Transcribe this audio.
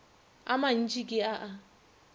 a mantši ke a a